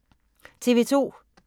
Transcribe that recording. TV 2